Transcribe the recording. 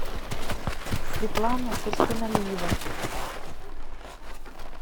светлана турсуналиева